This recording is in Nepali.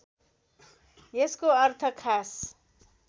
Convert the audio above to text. यसको अर्थ खास